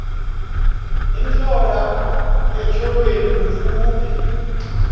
intlola etyholweni kufuphi